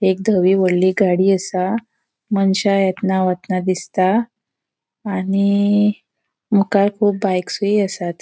एक धवी वोडली गाड़ी असा मनशा एतना वतना दिसता आणि मुखार कुब बाईक्स असात.